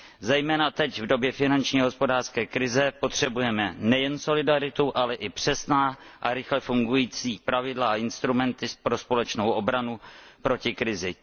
Zejména teď v době finanční a hospodářské krize potřebujeme nejen solidaritu, ale i přesná a rychle fungující pravidla a instrumenty pro společnou obranu proti krizi.